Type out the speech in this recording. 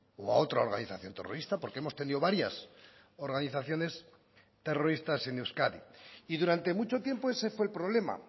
o a otra organización terrorista porque hemos tenido varias organizaciones terroristas en euskadi y durante mucho tiempo ese fue el problema